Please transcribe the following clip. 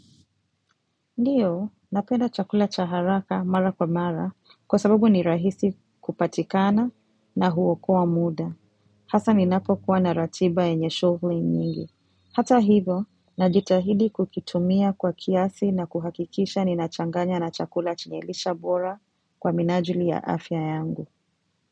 Ndiyo, napenda chakula cha haraka mara kwa mara kwa sababu ni rahisi kupatikana na huokoa muda. Hasa ninapo kuwa na ratiba yenye shughuli nyingi. Hata hivo, najitahidi kukitumia kwa kiasi na kuhakikisha ninachanganya na chakula chenye lisha bora kwa minajili ya afya yangu.